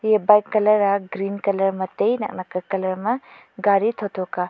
eya bike colour a green colour ma tai naknak ka colour ma gari thotho ka.